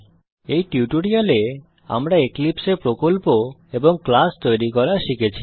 এই টিউটোরিয়ালে আমরা এক্লিপসে এ প্রকল্প এবং ক্লাস তৈরী করা শিখেছি